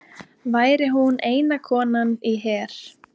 Væri hún eina konan í her